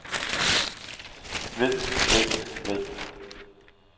ved ved ved